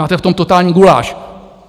Máte v tom totální guláš.